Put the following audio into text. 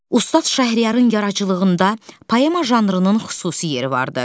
Ustad Şəhriyarın yaradıcılığında poema janrının xüsusi yeri vardı.